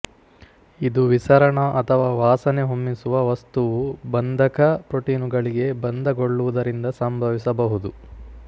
ಇದು ವಿಸರಣ ಅಥವಾ ವಾಸನೆ ಹೊಮ್ಮಿಸುವ ವಸ್ತುವು ಬಂಧಕ ಪ್ರೋಟೀನುಗಳಿಗೆ ಬಂಧಗೊಳ್ಳುವುದರಿಂದ ಸಂಭವಿಸಬಹುದು